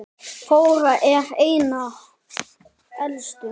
Þór er þeirra elstur.